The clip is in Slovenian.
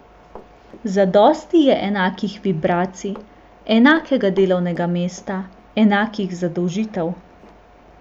Zadosti je enakih vibracij, enakega delovnega mesta, enakih zadolžitev.